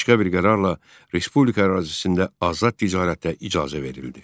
Başqa bir qərarla respublika ərazisində azad ticarətə icazə verildi.